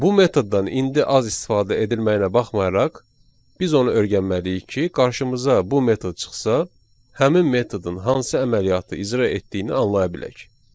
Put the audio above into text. Bu metoddan indi az istifadə edilməyinə baxmayaraq, biz onu öyrənməliyik ki, qarşımıza bu metod çıxsa, həmin metodun hansı əməliyyatı icra etdiyini anlaya bilək.